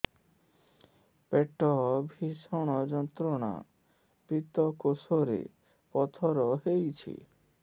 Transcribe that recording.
ପେଟ ଭୀଷଣ ଯନ୍ତ୍ରଣା ପିତକୋଷ ରେ ପଥର ହେଇଚି